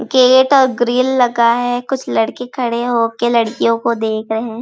Gate और grill लगा है कुछ लड़के खड़े होके लडकियों को देख रहे हैं।